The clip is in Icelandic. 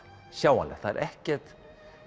sjáanlegt það er ekkert